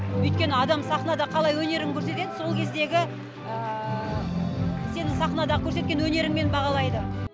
өйткені адам сахнада қалай өнерін көрсетеді сол кездегі сенің сахнада көрсеткен өнеріңмен бағалайды